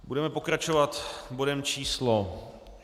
Budeme pokračovat bodem číslo